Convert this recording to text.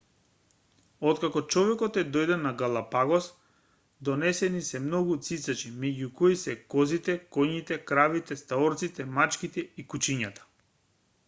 откако човекот е дојден на галапагос донесени се многу цицачи меѓу кои се козите коњите кравите стаорците мачките и кучињата